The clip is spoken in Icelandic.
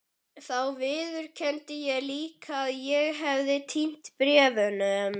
Þá viðurkenndi ég líka að ég hefði týnt bréfunum.